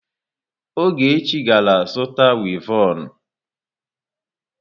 Ogechi gara zuta wivọnụ.